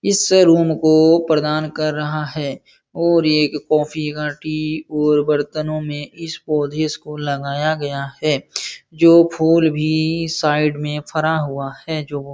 इस रूम को प्रदान कर रहा है और एक कॉफ़ी और बर्तनों में इस पौधों को लगाया गया है जो फूल भी साइड में फरा हुआ है जो --